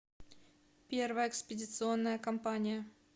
первая экспедиционная компания